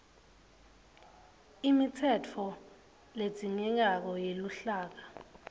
imitsetfo ledzingekako yeluhlaka